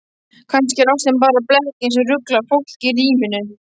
Kannski er ástin bara blekking sem ruglar fólk í ríminu.